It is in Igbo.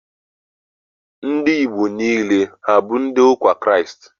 Ndị Igbo niile, abụ ndị ụka Kraịst?